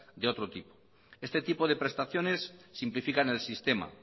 de otro tipo este tipo de prestaciones simplifican el sistema